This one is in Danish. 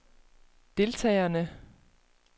deltagerne